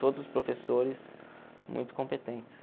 Todos os professores muito competentes.